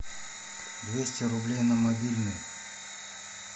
двести рублей на мобильный